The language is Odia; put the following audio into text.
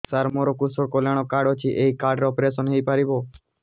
ସାର ମୋର କୃଷକ କଲ୍ୟାଣ କାର୍ଡ ଅଛି ଏହି କାର୍ଡ ରେ ଅପେରସନ ହେଇପାରିବ